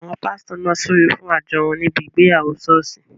Àwọn pásítọ̀ náà súre fún àjọ wọn níbi ìgbéyàwó ṣọ́ọ̀ṣì